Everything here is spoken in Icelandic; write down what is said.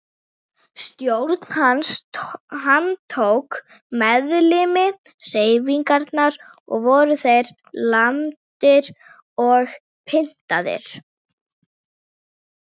Stjórn hans handtók meðlimi hreyfingarinnar og voru þeir lamdir og pyntaðir.